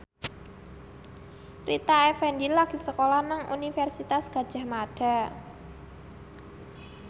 Rita Effendy lagi sekolah nang Universitas Gadjah Mada